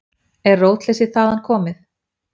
Er rótleysið þaðan komið?